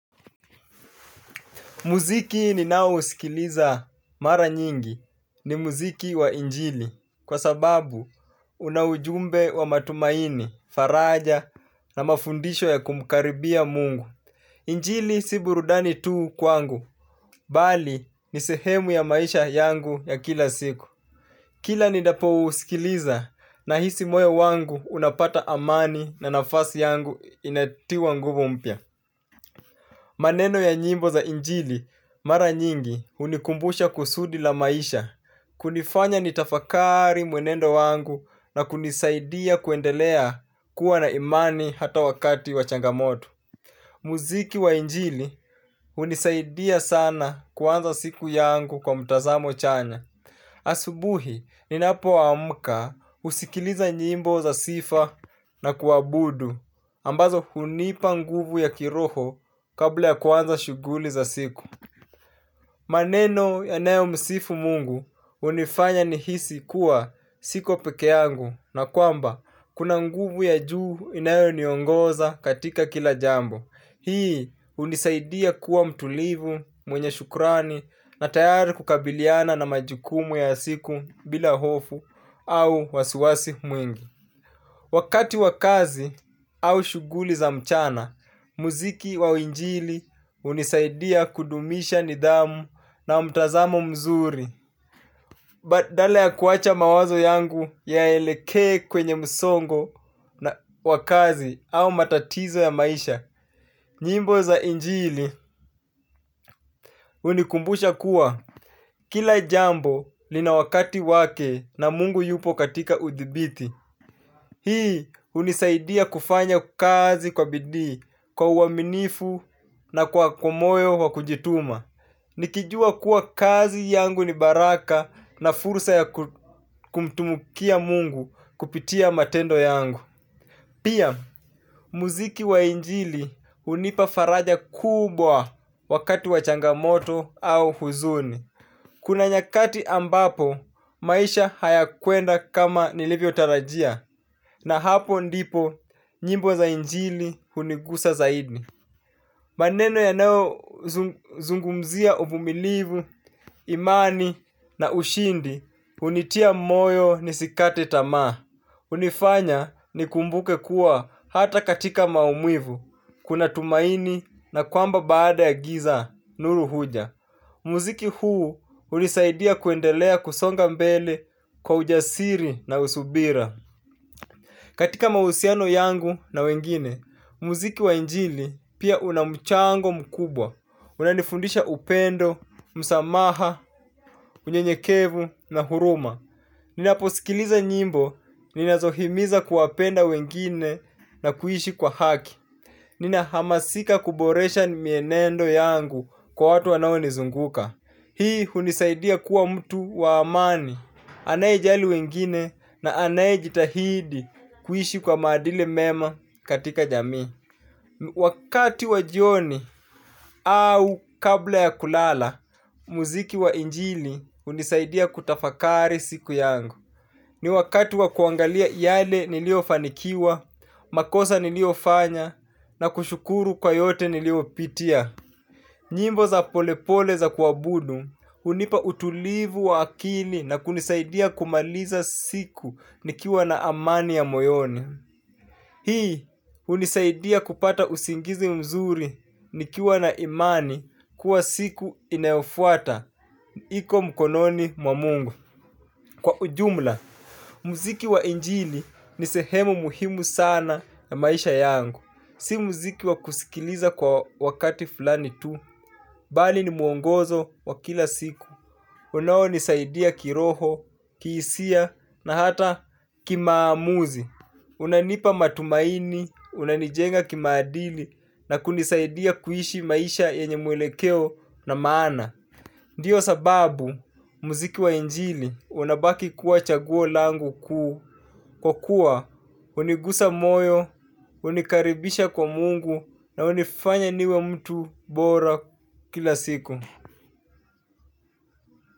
Muziki ninao usikiliza mara nyingi ni muziki wa injili kwa sababu una ujumbe wa matumaini, faraja na mafundisho ya kumkaribia mungu. Injili si burudani tu kwangu, bali ni sehemu ya maisha yangu ya kila siku. Kila ninapo usikiliza nahisi moyo wangu unapata amani na nafasi yangu inatiwa nguvu mpya. Maneno ya nyimbo za injili mara nyingi unikumbusha kusudi la maisha, kunifanya nitafakari mwenendo wangu na kunisaidia kuendelea kuwa na imani hata wakati wa changamoto. Muziki wa injili unisaidia sana kuanza siku yangu kwa mtazamo chanya. Asubuhi ninapo amka usikiliza nyimbo za sifa na kuabudu ambazo hunipa nguvu ya kiroho kabla ya kwanza shughuli za siku. Maneno yanayo msifu mungu unifanya nihisi kuwa siko pekeangu. Na kwamba kuna nguvu ya juu inayo niongoza katika kila jambo. Hii unisaidia kuwa mtulivu, mwenye shukrani na tayari kukabiliana na majukumu ya siku bila hofu au wasiwasi mwingi. Wakati wakazi au shughuli za mchana, muziki wa injili unisaidia kudumisha nidhamu na mtazamo mzuri. Badala ya kuacha mawazo yangu yaelekee kwenye msongo na wakazi au matatizo ya maisha, nyimbo za injili unikumbusha kuwa. Kila jambo lina wakati wake na mungu yupo katika udhibiti. Hii unisaidia kufanya kazi kwa bidii kwa uaminifu na kwa moyo wakujituma nikijua kuwa kazi yangu ni baraka na fursa ya kumtumikia mungu kupitia matendo yangu. Pia muziki wa injili unipa faraja kubwa wakati wachangamoto au huzuni. Kuna nyakati ambapo, maisha haya kwenda kama nilivyotarajia, na hapo ndipo njimbo za injili hunigusa zaidi. Maneno yanayo zungumzia uvumilivu, imani na ushindi, unitia moyo nisikate tamaa. Unifanya nikumbuke kuwa hata katika maumivu, kuna tumaini na kwamba baada ya giza, nuru huja. Muziki huu unisaidia kuendelea kusonga mbele kwa ujasiri na usubira. Katika mahusiano yangu na wengine, muziki wa injili pia unamchango mkubwa. Unanifundisha upendo, msamaha, unyenyekevu na huruma. Ninaposikiliza nyimbo, ninazohimiza kuwapenda wengine na kuishi kwa haki. Ninahamasika kuboresha ni mienendo yangu kwa watu wanao nizunguka. Hii unisaidia kuwa mtu waamani, anaejali wengine na anaejitahidi kuishi kwa maadili mema katika jami. Wakati wa jioni au kabla ya kulala, muziki wa injili unisaidia kutafakari siku yangu. Ni wakati wa kuangalia yale nilio fanikiwa, makosa nilio fanya na kushukuru kwa yote nilio pitia. Nyimbo za polepole za kuabudu, unipa utulivu wa akili na kunisaidia kumaliza siku nikiwa na amani ya moyoni. Hii, unisaidia kupata usingizi mzuri nikiwa na imani kuwa siku inayofuata. Iko mkononi mwa mungu. Kwa ujumla, muziki wa injili ni sehemu muhimu sana ya maisha yangu. Si muziki wa kusikiliza kwa wakati fulani tu, bali ni muongozo wa kila siku. Unao nisaidia kiroho, kihisia, na hata kimaamuzi. Unanipa matumaini, unanijenga kimaadili, na kunisaidia kuishi maisha yenye mwelekeo na maana. Ndiyo sababu, muziki wa njili, unabaki kuwa chaguo langu kuu. Kwa kuwa, unigusa moyo, unikaribisha kwa mungu na unifanya niwe mtu bora kila siku.